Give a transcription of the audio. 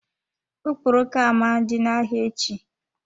Okporoko ama dị na-ahịa echi.